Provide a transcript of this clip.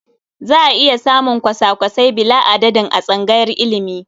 Za a iya samun kwasa-kwasai bila'adadin a tsangayar ilimi.